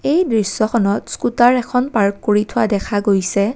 এই দৃশ্যখনত স্কুটাৰ এখন পাৰ্ক কৰি থোৱা দেখা গৈছে।